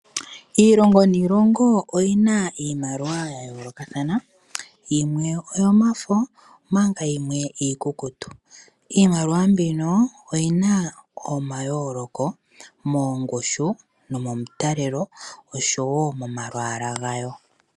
Iilongo niilongo oyina iimaliwa yayoloka thana yimwe oyomafo manka yimwe iikukutu. Iimaliwa mbino oyina omayoloko moongushu nomomitalelo oshowo momalwala gayo.